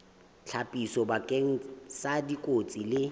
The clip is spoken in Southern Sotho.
ditlhapiso bakeng sa dikotsi le